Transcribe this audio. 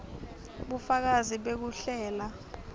bufakazi bekuhlela